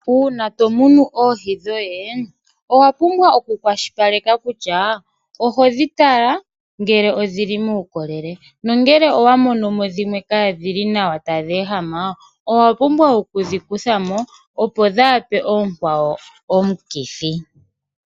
Uuna tomunu oohi dhoye owa pumbwa oku kwashilipaleka kutya ohodhi tala ngele odhili muukolele, nongele owa monomo dhimwe kadhili nawa tadhi ehama, owa pumbwa okudhi kuthamo opo kadhipe oonkwawo omukithi.